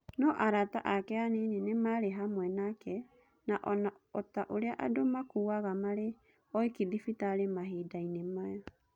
No arata ake anini tu maarĩ hamwe nake, na o ta ũrĩa andũ makuaga marĩ oiki thibitarĩ mahinda-inĩ maya".